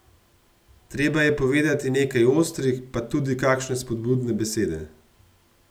Treba je povedati nekaj ostrih, pa tudi kakšne spodbudne besede.